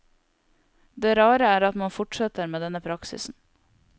Det rare er at man fortsetter med denne praksisen.